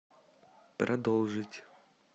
продолжить